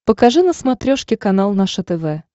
покажи на смотрешке канал наше тв